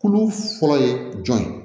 Kulu fɔlɔ ye jɔn ye